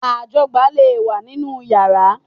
Ajọgbá lè wà nínú yàrá